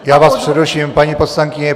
Já vás přeruším, paní poslankyně.